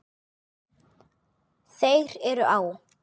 Þeir eru á